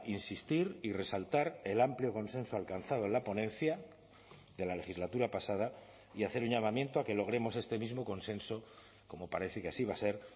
insistir y resaltar el amplio consenso alcanzado en la ponencia de la legislatura pasada y hacer un llamamiento a que logremos este mismo consenso como parece que así va a ser